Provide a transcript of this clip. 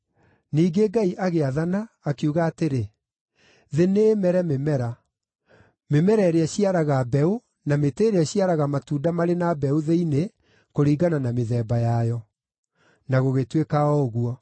Ningĩ Ngai agĩathana, akiuga atĩrĩ, “Thĩ nĩ ĩmere mĩmera: Mĩmera ĩrĩa ĩciaraga mbeũ, na mĩtĩ ĩrĩa ĩciaraga matunda marĩ na mbeũ thĩinĩ, kũringana na mĩthemba yayo.” Na gũgĩtuĩka o ũguo.